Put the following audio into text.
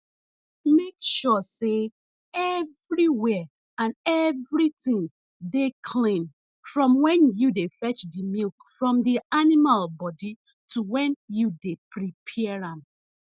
make sure sey evriwia an evritin dey clean from wen yu dey fetch di milk from di animal bodi to wen yu dey prepare am